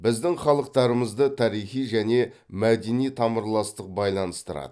біздің халықтарымызды тарихи және мәдени тамырластық байланыстырады